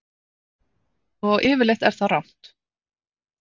Og yfirleitt er það rangt.